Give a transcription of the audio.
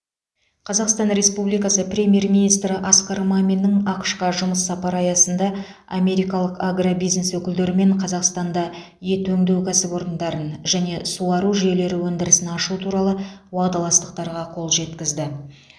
қазақстан республикасы премьер министрі асқар маминнің ақш қа жұмыс сапары аясында америкалық агробизнес өкілдерімен қазақстанда ет өңдеу кәсіпорындарын және суару жүйелері өндірісін ашу туралы уағдаластықтарға қол жеткізілді